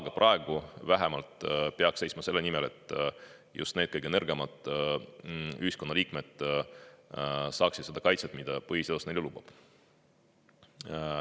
Aga praegu peaks seisma vähemalt selle nimel, et just need kõige nõrgemad ühiskonna liikmed saaksid kaitset, mida põhiseadus neile lubab.